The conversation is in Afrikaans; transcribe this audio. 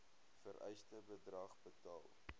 vereiste bedrag betaal